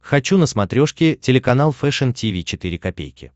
хочу на смотрешке телеканал фэшн ти ви четыре ка